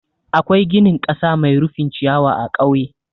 Akwai ginin ƙasa mai rufin ciyawa a ƙauye.